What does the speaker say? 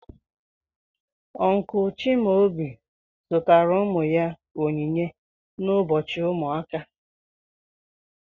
Uncle Chimaobi zụtara ụmụ ya onyinye n'ụbọchị ụmụaka.